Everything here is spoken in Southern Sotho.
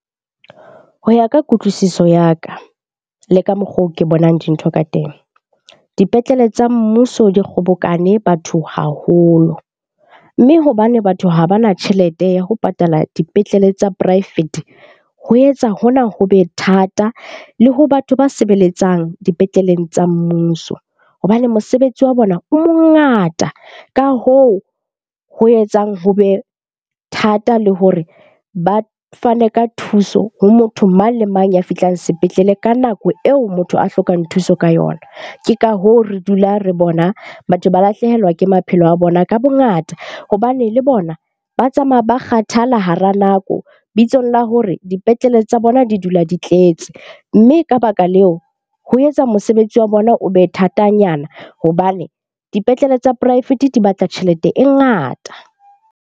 Ho ya ka kutlwisiso ya ka le ka mokgo ke bonang dintho ka teng. Dipetlele tsa mmuso di kgobokane batho haholo. Mme hobane batho ha bana tjhelete ya ho patala dipetlele tsa poraefete, ho etsa hona ho be thata le ho batho ba sebeletsang dipetleleng tsa mmuso hobane mosebetsi wa bona o mongata. Ka hoo ho etsang ho be thata le hore ba fane ka thuso ho motho mang le mang ya fihlang sepetlele ka nako eo motho a hlokang thuso ka yona. Ke ka hoo, re dula re bona batho ba lahlehelwa ke maphelo a bona ka bongata hobane le bona ba tsamaya ba kgathala hara nako bitsong la hore dipetlele tsa bona di dula di tletse. Mme ka baka leo, ho etsa mosebetsi wa bona o be thatanyana hobane dipetlele tsa poraefete di batla tjhelete e ngata.